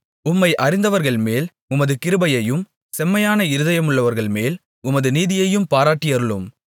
உம்மை அறிந்தவர்கள்மேல் உமது கிருபையையும் செம்மையான இருதயமுள்ளவர்கள்மேல் உமது நீதியையும் பாராட்டியருளும்